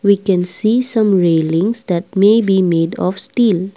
we can see some needings that may be made of steel.